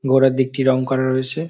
গোড়ার দিকটি রং করা রয়েছে।